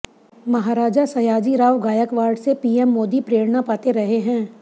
महाराजा सयाजीराव गायकवाड़ से पीएम मोदी प्रेरणा पाते रहे हैं